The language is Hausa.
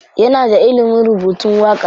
Yana da ilimin rubutun waƙa.